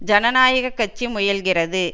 ஜனநாயக கட்சி முயல்கிறது